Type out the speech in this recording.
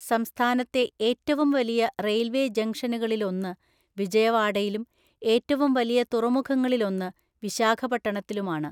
സംസ്ഥാനത്തെ ഏറ്റവും വലിയ റെയിൽവേ ജംഗ്ഷനുകളിലൊന്ന് വിജയവാഡയിലും ഏറ്റവും വലിയ തുറമുഖങ്ങളിലൊന്ന് വിശാഖപട്ടണത്തിലുമാണ്.